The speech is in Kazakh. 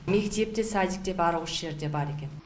мектеп те садик те барлығы осы жерде бар екен